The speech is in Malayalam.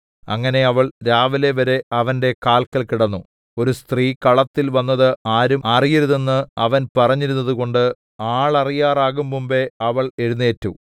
അങ്ങനെ അവൾ രാവിലെവരെ അവന്റെ കാല്ക്കൽ കിടന്നു ഒരു സ്ത്രീ കളത്തിൽ വന്നത് ആരും അറിയരുതെന്ന് അവൻ പറഞ്ഞിരുന്നതുകൊണ്ട് ആളറിയാറാകുംമുമ്പെ അവൾ എഴുന്നേറ്റു